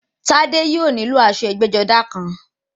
Tádé yóò nílò aṣọ ẹgbẹ́-jọdá kan.